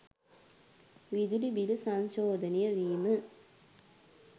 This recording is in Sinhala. විදුලි බිල සංශෝධනය වීම